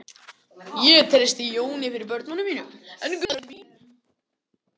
Ég treysti Jóni fyrir börnunum mínum en Gunnu til að gera við bílinn.